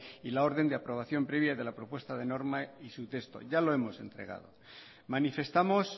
y la orden de aprobación previa de la propuesta de norma y su texto ya lo hemos entregado manifestamos